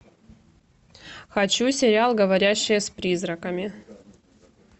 хочу сериал говорящая с призраками